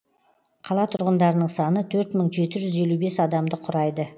қала тұрғындарының саны төрт мың жеті жүз елу бес адамды құрайды